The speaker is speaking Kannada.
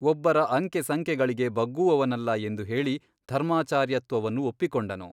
ಒಬ್ಬರ ಅಂಕೆ ಸಂಕೆಗಳಿಗೆ ಬಗ್ಗುವವನಲ್ಲ ಎಂದು ಹೇಳಿ ಧರ್ಮಾಚಾರ್ಯತ್ವವನ್ನು ಒಪ್ಪಿಕೊಂಡನು.